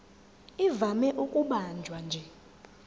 ivame ukubanjwa nje